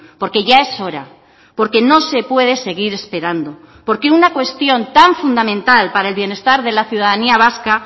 porque ya es hora porque no se puede seguir esperando porque una cuestión tan fundamental para el bienestar de la ciudadanía vasca